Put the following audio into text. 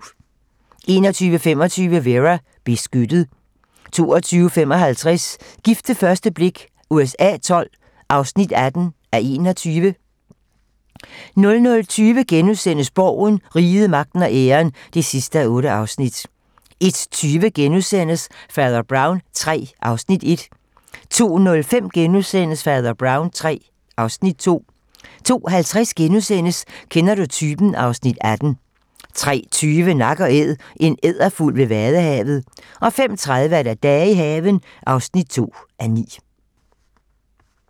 21:25: Vera: Beskyttet 22:55: Gift ved første blik USA XII (18:21) 00:20: Borgen - Riget, magten og æren (8:8)* 01:20: Fader Brown III (Afs. 1)* 02:05: Fader Brown III (Afs. 2)* 02:50: Kender du typen? (Afs. 18)* 03:20: Nak & Æd - en edderfugl ved Vadehavet 05:30: Dage i haven (2:9)